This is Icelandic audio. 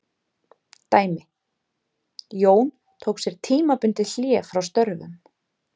Dæmi: Jón tók sér tímabundið hlé frá störfum.